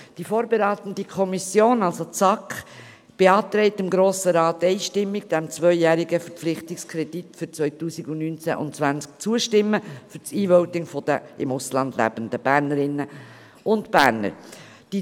Die SAK als vorberatende Kommission beantragt dem Grossen Rat einstimmig, dem zweijährigen Verpflichtungskredit für die Jahre 2019 und 2020 für das E-Voting der im Ausland lebenden Bernerinnen und Berner zuzustimmen.